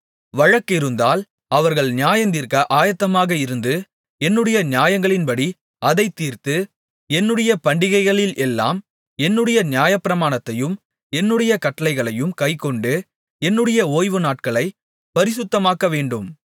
வழக்கிருந்தால் அவர்கள் நியாயந்தீர்க்க ஆயத்தமாக இருந்து என்னுடைய நியாயங்களின்படி அதைத் தீர்த்து என்னுடைய பண்டிகைகளில் எல்லாம் என்னுடைய நியாயப்பிரமாணத்தையும் என்னுடைய கட்டளைகளையும் கைக்கொண்டு என்னுடைய ஓய்வுநாட்களைப் பரிசுத்தமாக்கவேண்டும்